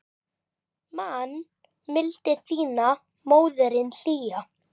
Man mildi þína móðirin hlýja.